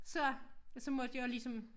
Så så måtte jeg jo ligesom